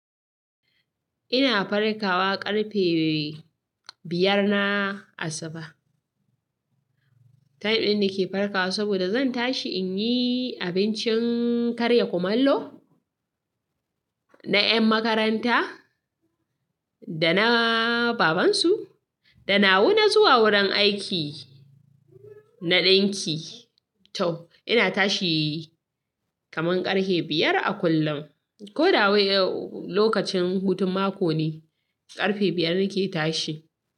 Ina farkawa ƙarfe biyar na asuba. Time din nake farkawa saboda zan tashi in yi abincin karya kumallo na 'yan makaranta da na babansu, da na wu na zuwa wurin aiki na ɗinki. To ina tashi kaman ƙarhe biyar a kullum. Ko da wai lokacin hutun mako ne, ƙarfe biyar nake tashi.